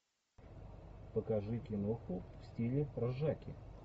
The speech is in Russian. покажи киноху в стиле ржаки